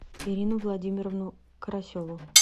ирину владимировну карасеву